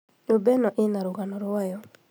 Nyũmba ĩno ĩna rũgano rwayo